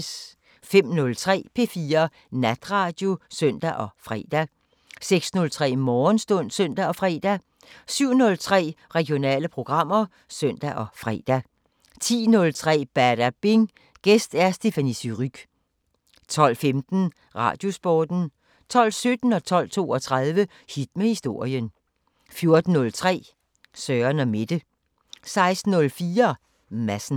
05:03: P4 Natradio (søn og fre) 06:03: Morgenstund (søn og fre) 07:03: Regionale programmer (søn og fre) 10:03: Badabing: Gæst Stéphanie Surrugue 12:15: Radiosporten 12:17: Hit med historien 12:32: Hit med historien 14:03: Søren & Mette 16:04: Madsen